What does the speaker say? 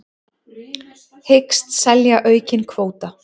Hyggst selja aukinn kvóta